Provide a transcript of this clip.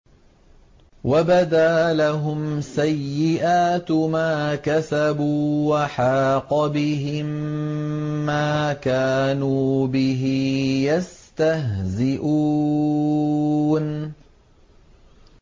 وَبَدَا لَهُمْ سَيِّئَاتُ مَا كَسَبُوا وَحَاقَ بِهِم مَّا كَانُوا بِهِ يَسْتَهْزِئُونَ